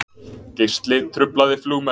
Geisli truflaði flugmenn